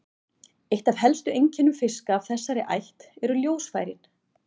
Eitt af helstu einkennum fiska af þessari ætt eru ljósfærin.